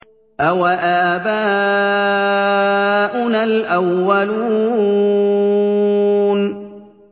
أَوَآبَاؤُنَا الْأَوَّلُونَ